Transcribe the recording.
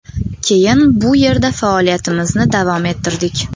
Keyin bu yerda faoliyatimizni davom ettirdik.